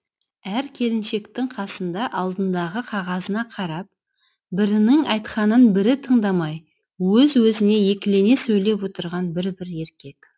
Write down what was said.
әр келіншектің қасында алдындағы қағазына қарап бірінің айтқанын бірі тыңдамай өз өзінен екілене сөйлеп отырған бір бір еркек